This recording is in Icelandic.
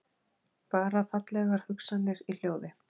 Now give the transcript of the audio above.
Bara fallegar hugsanir í hljóði.